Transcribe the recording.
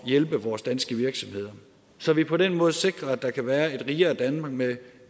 hjælpe vores danske virksomheder så vi på den måde sikrer at der kan være et rigere danmark med